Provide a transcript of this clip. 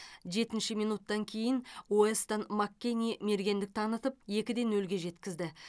жетінші минуттан кейін уэстон маккенни мергендік танытып екі де нөлге жеткізді